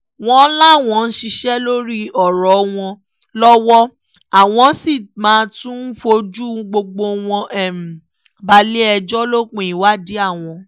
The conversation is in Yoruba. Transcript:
wọ́n láwọn ń ṣiṣẹ́ lórí ọ̀rọ̀ wọn lọ́wọ́ àwọn sì máa tóó fojú gbogbo wọn balẹ̀-ẹjọ́ lópin ìwádìí àwọn